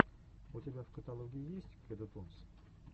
у тебя в каталоге есть кеду тунс